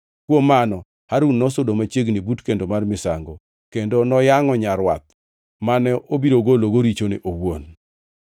Kuom mano, Harun nosudo machiegni but kendo mar misango, kendo noyangʼo nyarwath mane obiro gologo richone owuon.